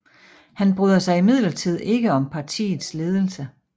Han bryder sig imidlertid ikke om partiets ledelse